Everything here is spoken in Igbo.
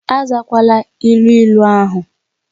Azakwala ilu ịlu ahu!